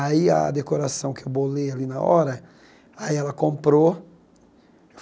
Aí a decoração que bolei ali na hora, aí ela comprou.